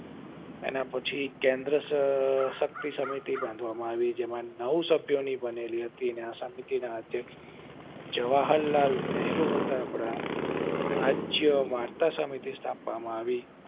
એના પછી કેન્દ્ર શકઃ~ સરકાર શક્તિ ની સમિતિ બનાવવામાં આવી જેમાં નવ સમિતિ હતી અને એ સમિતિ ના અધ્યક્ષ જવાહર લાલ નેહરુ હતા આપડા રાજ્ય વાર્તા સમિતિ સ્થાપવામાં આવી